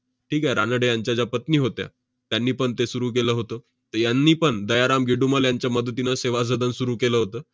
ठीक आहे? रानडे यांच्या ज्या पत्नी होत्या, त्यांनी पण ते सुरु केलं होतं. त~ यांनीपण दयाराम गिडुमल यांच्या मदतीनं सेवा सदन सुरु केलं होतं.